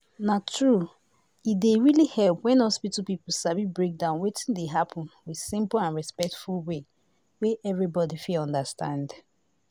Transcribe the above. na true. e dey really help when hospital people sabi break down wetin dey happen with simple and respectful way wey everybody fit understand